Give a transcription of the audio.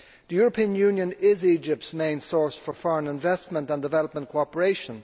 The European Union is Egypt's main source for foreign investment and development cooperation.